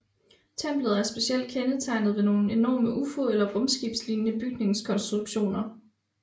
Templet er specielt kendetegnet ved nogle enorme Ufo eller rumskibslignende bygningskonstruktioner